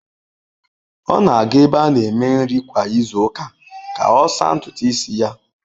Ọ na-aga ebe a na-eme nri kwa izu ụka ka ọ saa ntutu isi ya.